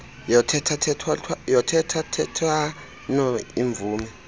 yothetha thethwano iimvume